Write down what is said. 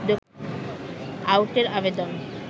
আউটের আবেদন